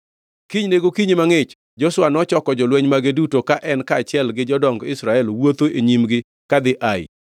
Kinyne gokinyi mangʼich Joshua nochoko jolweny mage duto ka en kaachiel gi jodong Israel wuotho e nyimgi kadhi Ai.